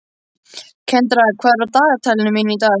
Kendra, hvað er á dagatalinu mínu í dag?